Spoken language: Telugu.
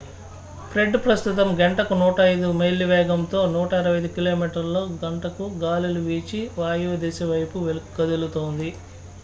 ఫ్రెడ్ ప్రస్తుతం గంటకు 105 మైళ్ల వేగంతో 165 కి.మీ./గం గాలులు వీచి వాయువ్య దిశ వైపు కదులుతోంది